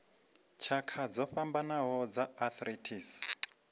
tshakha dzo fhambanaho dza arthritis